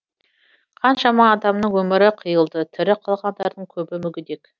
қаншама адамның өмірі қиылды тірі қалғандардың көбі мүгедек